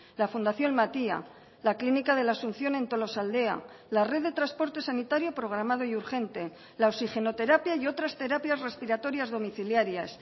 la fundación matia la clínica de la asunción en tolosaldea la red de transporte sanitario programado y urgente la oxigenoterapia y otras terapias respiratorias domiciliarias